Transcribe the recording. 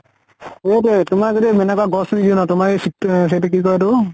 সৌটোয়ে তোমাৰ যদি গছ ৰুই তোমাৰ এই চিত এইটো কি কয় এইটো